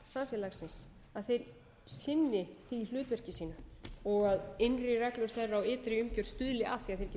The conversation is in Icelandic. afl samfélagsins sinni hlutverki sínu og innri reglur þeirra og ytri umgjörð stuðli að því